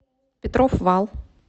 петров вал